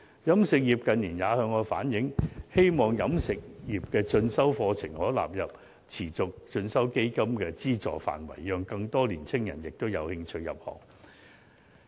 飲食業近年也向我反映，希望持續進修基金的資助範圍可納入飲食業的進修課程，讓更多年青人有興趣入行。